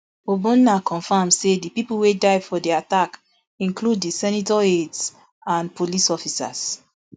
o gbonna confam say di pipo wey die for di attack include di senator aides and police officers